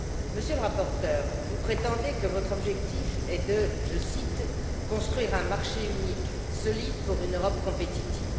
Monsieur le rapporteur, vous prétendez que votre objectif est de construire un marché unique solide pour une Europe compétitive.